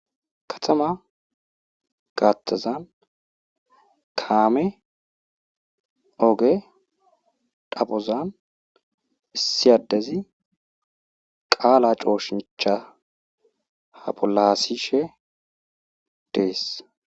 Kathama gaathazan kaame oge xaphoazan issi addezi qaala cooshincha ha pulaasishe dees.